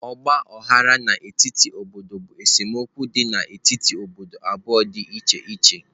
Ọgba aghara n'etiti obodo bụ esemokwu dị n'etiti obodo abụọ dị iche iche.